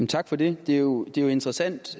tak for det det er jo interessant